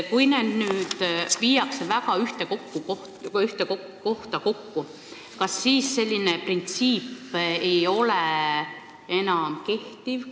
Kui need viiakse nüüd ühte kohta kokku, kas siis too printsiip enam ei kehti?